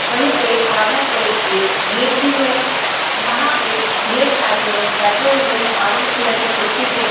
वहीं पे कॉर्नर पे एक गेट भी है वहां पे ढेर सारे लोग बैठे हुए हैं ऑरेंज कलर की कुर्सी पे--